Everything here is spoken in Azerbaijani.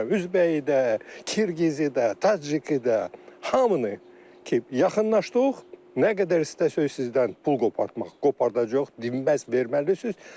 Bunun üzbəyidə, Qırğızı da, Taciki də, hamını ki, yaxınlaşdıq, nə qədər istəsəz sizdən pul qopartmaq, qopardacağıq, dinməz verməlisiniz.